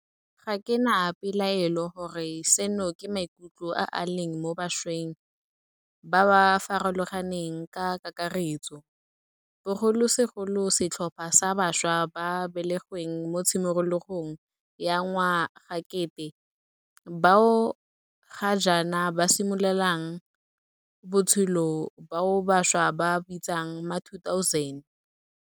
Ga ke na pelaelo gore seno ke maikutlo a a leng mo bašweng ba ba farologaneng ka kakaretso, bogolosegolo setlhopha sa bašwa ba ba belegweng mo tshimologong ya ngwagakete bao ga jaana ba simololang botshelo, bao bašwa ba ba bitsang ma2000.